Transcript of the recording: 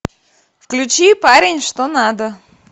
включи парень что надо